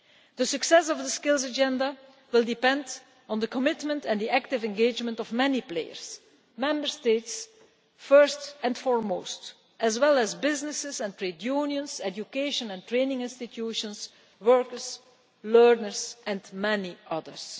The success of the Skills Agenda will depend on the commitment and the active engagement of many players, Member States first and foremost, as well as businesses and trade unions, education and training institutions, workers, learners and many others.